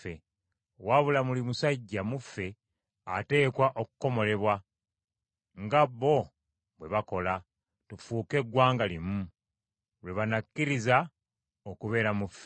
Wabula buli musajja mu ffe ateekwa okukomolebwa, nga bo bwe bakola; tufuuke eggwanga limu, lwe banakkiriza okubeera mu ffe.